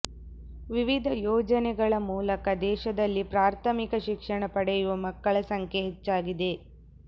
ವಿವಿಧ ಯೋಜನೆಗಳ ಮೂಲಕ ದೇಶದಲ್ಲಿ ಪ್ರಾಥಮಿಕ ಶಿಕ್ಷಣ ಪಡೆಯುವ ಮಕ್ಕಳ ಸಂಖ್ಯೆ ಹೆಚ್ಚಾಗಿದೆ